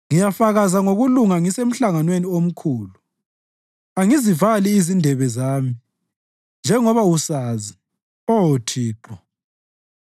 Ngiyafakaza ngokulunga ngisemhlanganweni omkhulu; angizivali izindebe zami, njengoba usazi, Oh Thixo.